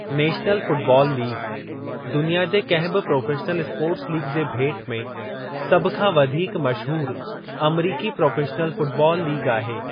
National football league दुनिया जे कंहिं बि प्रोफ़ेशनल स्पोर्ट्स लीग जे भेट में सभ खां वधीक मशहूरु अमरीकी प्रोफ़ेशनल फ़ुटबाल लीग आहे।